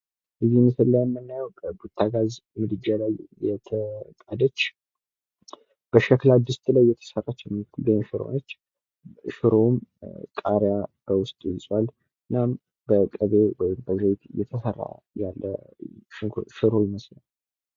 የጥበብ ትምህርትና ስልጠና ግለሰቦች የፈጠራ ችሎታቸውን እንዲያዳብሩና ለባህል ዕድገት አስተዋጽኦ እንዲያደርጉ ያበረታታል።